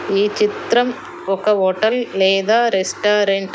ఈ చిత్రం ఒక హోటల్ లేదా రెస్టారెంట్ .